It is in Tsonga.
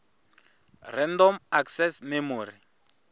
random access memory